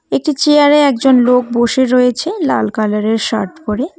একটি চেয়ার -এ একজন লোক বসে রয়েছে লাল কালার -এর শার্ট পরে।